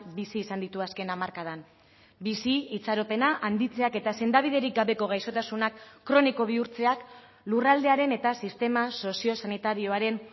bizi izan ditu azken hamarkadan bizi itxaropena handitzeak eta sendabiderik gabeko gaixotasunak kroniko bihurtzeak lurraldearen eta sistema soziosanitarioaren